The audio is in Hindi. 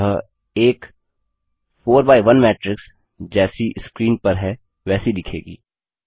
अतः एक 4 बाय1 मैट्रिक्स जैसी स्क्रीन पर है वैसी दिखेगी